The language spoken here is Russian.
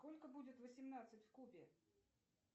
сколько будет восемнадцать в кубе